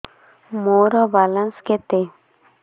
ମୋର ବାଲାନ୍ସ କେତେ